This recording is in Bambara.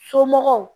Somɔgɔw